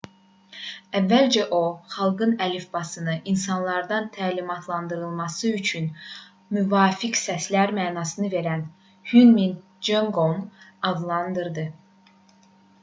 əvvəlcə o xanqıl əlifbasını insanların təlimatlandırılması üçün müvafiq səslər mənasını verən hunmin jeongeum adlandırdı